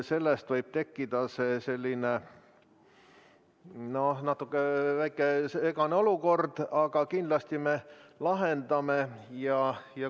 Sellest võib tekkida natuke segane olukord, aga kindlasti me lahendame selle.